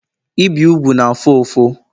ibi úgwù na-afụ ụfụ